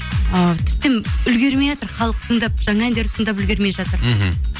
ы тіптен үлгермейатыр халық тыңдап жаңа әндерді тыңдап үлгермей жатыр мхм